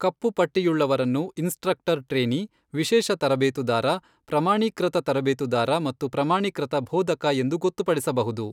ಕಪ್ಪು ಪಟ್ಟಿಯುಳ್ಳವರನ್ನು instructor trainee, ವಿಶೇಷ ತರಬೇತುದಾರ, ಪ್ರಮಾಣೀಕೃತ ತರಬೇತುದಾರ ಮತ್ತು ಪ್ರಮಾಣೀಕೃತ ಬೋಧಕ ಎಂದು ಗೊತ್ತುಪಡಿಸಬಹುದು.